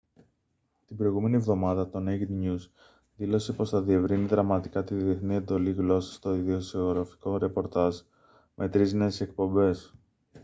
την προηγούμενη εβδομάδα το naked news δήλωσε πως θα διευρύνει δραματικά τη διεθνή εντολή γλώσσας στο ειδησεογραφικό ρεπορτάζ με τρεις νέες εκπομπές